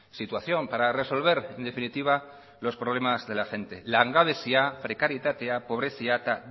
situación para resolver en definitiva los problemas de la gente langabezia prekarietatea pobrezia eta